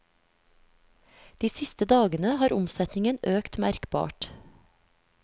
De siste dagene har omsetningen økt merkbart.